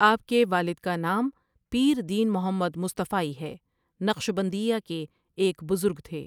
آپ کے والد کا نام پیر دین محمد مصطفائی ہے نقشبندیہ کے ایک بزرگ تھے۔